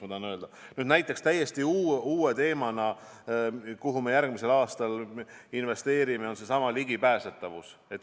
Uus teema, kuhu me järgmisel aastal investeerime, ongi seesama ligipääsetavus.